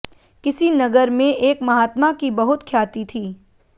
किसी नगर में एक महात्मा की बहुत ख्याति थी